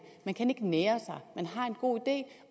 man kan ikke nære sig man har en god idé